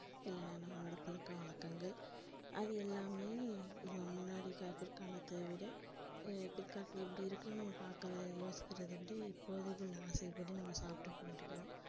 இல்லனா நம்மலோட பழக்கவழக்கங்கள் அது எல்லாமே முன்னாடி பிற்காலத்த விட பிற்காலத்துல இப்படி இருக்கணும் பாக்குற யோசிக்கிறத விட இப்போதிகள் ஆசைகள் படி நம்ம சாப்ட்டு கொள்கிறோம்.